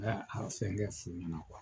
Ne ye a fɛngɛ sen min na